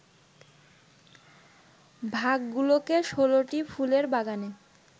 ভাগগুলোকে ১৬টি ফুলের বাগানে